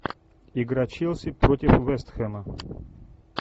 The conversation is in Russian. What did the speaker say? игра челси против вест хэма